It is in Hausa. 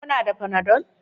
Kuna da Panadol?